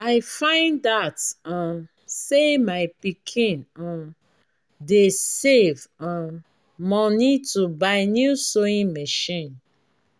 i find out um say my pikin um dey save um money to buy new sewing machine